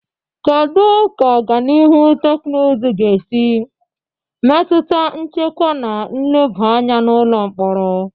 Kedu ka ọganihu teknụzụ ga-esi metụta nchekwa na nleba anya n'ụlọ mkpọrọ?